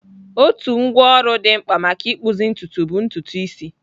Otu ngwá ọrụ dị mkpa maka ịkpụzi ntutu bụ ntutu isi.